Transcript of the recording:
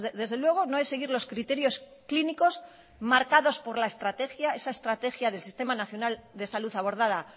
desde luego no es seguir los criterios clínicos marcados por la estrategia esa estrategia del sistema nacional de salud abordada